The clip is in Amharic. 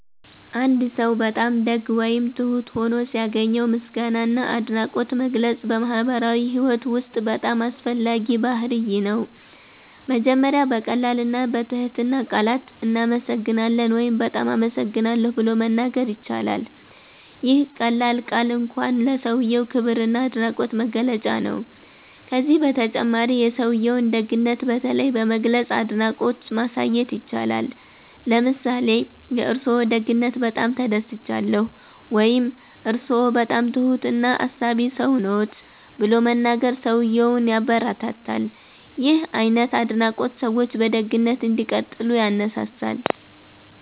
አንድ ሰው በጣም ደግ ወይም ትሁት ሆኖ ሲያገኘው ምስጋና እና አድናቆት መግለጽ በማህበራዊ ህይወት ውስጥ በጣም አስፈላጊ ባህርይ ነው። መጀመሪያ በቀላል እና በትህትና ቃላት “እናመሰግናለን” ወይም “በጣም አመሰግናለሁ” ብሎ መናገር ይቻላል። ይህ ቀላል ቃል እንኳን ለሰውዬው ክብር እና አድናቆት መግለጫ ነው። ከዚህ በተጨማሪ የሰውዬውን ደግነት በተለይ በመግለጽ አድናቆት ማሳየት ይቻላል። ለምሳሌ “የእርስዎ ደግነት በጣም ተደስቻለሁ” ወይም “እርስዎ በጣም ትሁት እና አሳቢ ሰው ነዎት” ብሎ መናገር ሰውዬውን ያበረታታል። ይህ አይነት አድናቆት ሰዎች በደግነት እንዲቀጥሉ ያነሳሳል።